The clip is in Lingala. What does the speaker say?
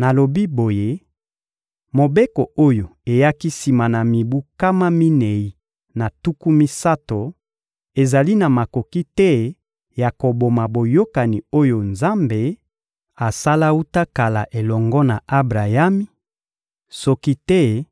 Nalobi boye: «Mobeko oyo eyaki sima na mibu nkama minei na tuku misato ezali na makoki te ya koboma boyokani oyo Nzambe asala wuta kala elongo na Abrayami; soki te,